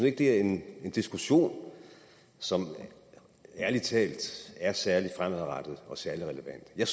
ikke er en diskussion som ærlig talt er særlig fremadrettet og særlig relevant jeg